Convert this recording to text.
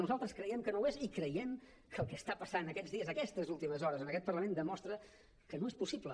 nosaltres creiem que no ho és i creiem que el que està passant aquests dies aquestes últimes hores en aquest parlament demostra que no és possible